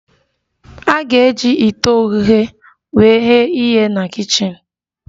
A ga-eji ite oghughe wee ghe ihe na kichin